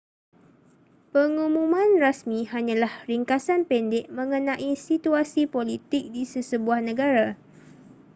pengumuman rasmi hanyalah ringkasan pendek mengenai situasi politik di sesebuah negara